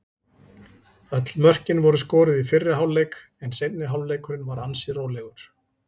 Öll mörkin voru skoruð í fyrri hálfleik en seinni hálfleikurinn var ansi rólegur.